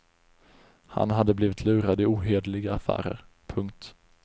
Han hade blivit lurad i ohederliga affärer. punkt